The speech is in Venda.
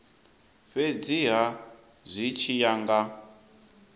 fhedziha zwi tshi ya nga